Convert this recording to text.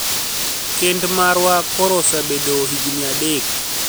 Kenid marwa koro osebedo hignii adek